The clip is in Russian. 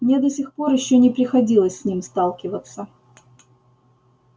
мне до сих пор ещё не приходилось с ним сталкиваться